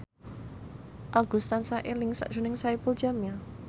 Agus tansah eling sakjroning Saipul Jamil